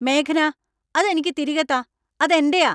മേഘന, അത് എനിക്ക് തിരികെ താ, അത് എന്‍റെയാ !